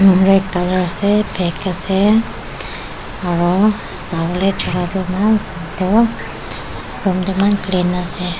red colour ase black ase aru sawo le jaka toh eman sunder room toh eman clean ase.